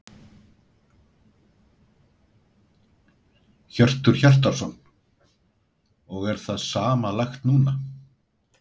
Hjörtur Hjartarson: Og er það sama lagt núna?